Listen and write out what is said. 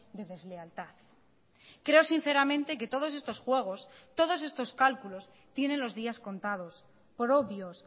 de deslealtad creo sinceramente que todos estos juegos todos estos cálculos tienen los días contados por obvios